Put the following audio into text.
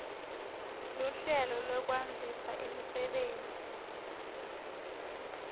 luhlelo lwekwandzisa imisebenti